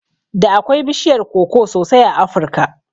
Da akwai bishiyar koko sosai a Afirka